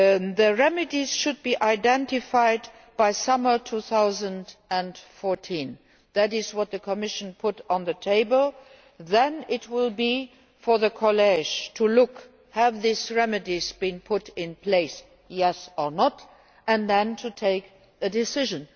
The remedies should be identified by summer 2014 that is what the Commission put on the table. Then it will be for the College to look at whether these remedies have been put in place yes or no and then to take a decision.